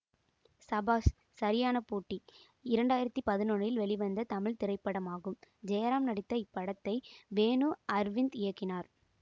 சபாஷ் சரியான போட்டி இரண்டு ஆயிரத்தி பதினொன்னில் இல் வெளிவந்த தமிழ் திரைப்படமாகும் ஜெயராம் நடித்த இப்படத்தை வேணு அர்விந்த் இயக்கினார்